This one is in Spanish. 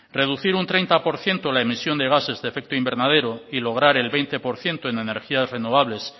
reducir un treinta por ciento la emisión de gases de efecto invernadero y lograr el veinte por ciento en energías renovables